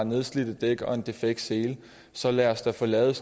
nedslidte dæk og en defekt sele så lad os dog få lavet